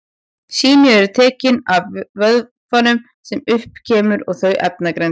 Sýni eru tekin af vökvanum sem upp kemur og þau efnagreind.